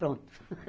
Pronto.